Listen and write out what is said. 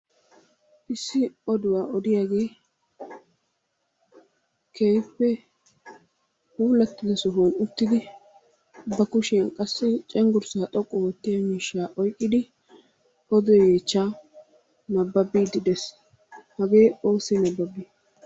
Issi oduwa odiyagee keehippe puulattida sohuwan uttidi ba kushiyan cenggurssaa xoqqu oottiya miishshaa oyikkidi odo yeechchaa nabbabbiiddi des. Hagee oossi nabbabi?